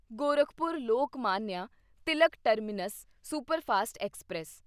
Gorakhpur Lokmanya Tilak terminus superfast express